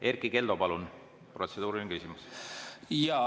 Erkki Keldo, palun, protseduuriline küsimus!